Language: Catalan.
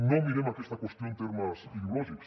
no mirem aquesta qüestió en termes ideològics